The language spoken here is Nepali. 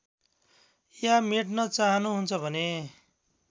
या मेट्न चाहनुहुन्छ भने